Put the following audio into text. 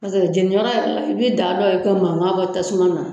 Paseke jɛnibaga yɛrɛ la, i bɛ daabaw ye ka mankan bɔ tasuma na.